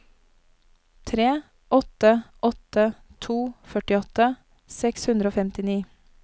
tre åtte åtte to førtiåtte seks hundre og femtini